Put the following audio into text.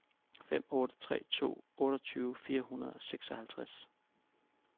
fem otte tre to otteogtyve fire hundrede og seksoghalvtreds